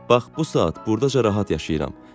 Bax bu saat burdaca rahat yaşayıram.